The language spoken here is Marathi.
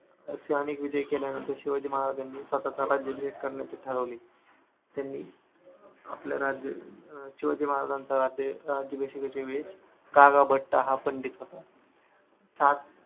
असे अनेक विजय केल्यानंतर शिवाजी महाराजांनी स्वतःचा राज्यभिषेक करण्याचे ठरवले. त्यांनी आपल्या राज्य शिवाजी महाराजाचे राज्यअभिषेकच्या वेळेस कागा भट्ट हा पंडित होता. सात